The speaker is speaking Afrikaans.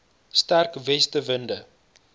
sterk weste winde